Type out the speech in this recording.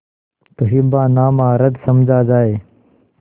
तो हिब्बानामा रद्द समझा जाय